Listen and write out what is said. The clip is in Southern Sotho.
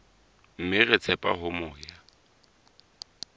mme re tshepa hore moya